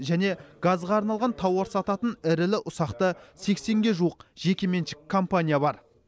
және газға арналған тауар сататын ірілі ұсақты сексенге жуық жекеменшік компания бар